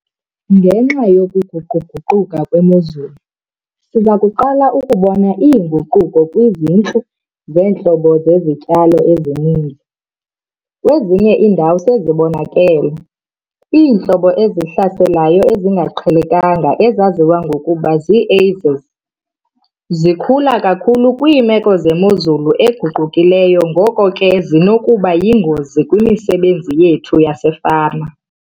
Ngenxa yokuguqu-guquka kwemozulu, siza kuqala ukubona iinguquko kwizintlu zeentlobo zezityalo ezininzi - kwezinye iindawo sezibonakele. Iintlobo ezihlaselayo ezingaqhelekanga ezaziwa ngokuba zii-Ais's zikhula kakhulu kwiimeko zemozulu eguqukileyo ngoko ke zinokuba yingozi kwimisebenzi yethu yasefama.